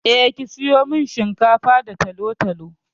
Eh, ki sayo min shinkafa da talo-talo.